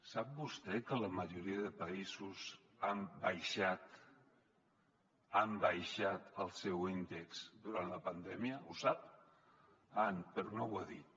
sap vostè que la majoria de països han baixat el seu índex durant la pandèmia ho sap ah però no ho ha dit